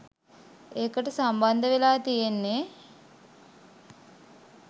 ඒකට සම්බන්ධවෙලා තියෙන්නේ